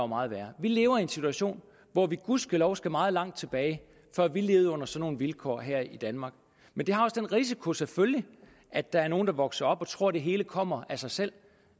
meget værre vi lever i en situation hvor vi gudskelov skal meget langt tilbage før vi levede under sådanne vilkår her i danmark men det har også den risiko selvfølgelig at der er nogle der vokser op og tror at det hele kommer af sig selv